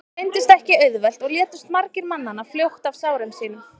það reyndist ekki auðvelt og létust margir mannanna fljótt af sárum sínum